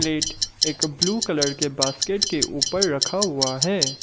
Plate एक blue colour के basket के ऊपर रखा हुआ है।